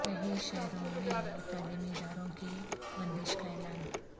کئی شہروں میں تعلیمی اداروں کی بندش کا اعلان